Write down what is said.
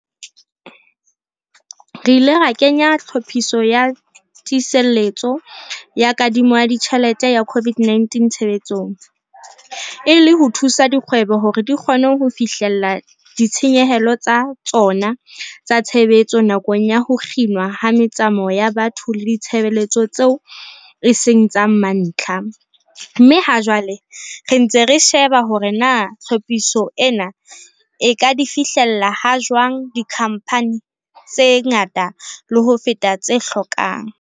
Re ile ra kenya Tlhophiso ya Tiiseletso ya Kadimo ya Ditjhelete ya COVID-19 tshebetsong, e le ho thusa dikgwebo hore di kgone ho fihlella ditshenyehelo tsa tsona tsa tshebetso nakong ya ho kginwa ha metsamao ya batho le ditshebeletso tseo e seng tsa mantlha, mme ha jwale re ntse re sheba hore na tlhophiso ena e ka di fihlella ha jwang dikhamphane tse ngata le ho feta tse hlokang.